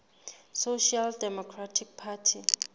social democratic party